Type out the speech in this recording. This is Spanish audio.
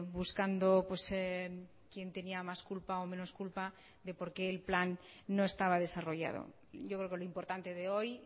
buscando quién tenía más culpa o menos culpa de por qué el plan no estaba desarrollado yo creo que lo importante de hoy